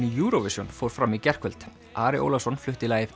í Eurovision fór fram í gærkvöld Ari Ólafsson flutti lagið